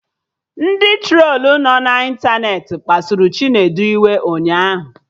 Ndị trolu nọ na ịntanetị kpasuru Chinedu iwe ụnyaahụ